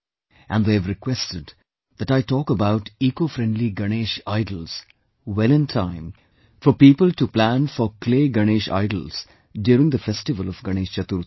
And they have requested that I talk about ecofriendly Ganesha idols, well in time for people to plan for clay Ganesha idols during the festival of Ganesh Chaturthi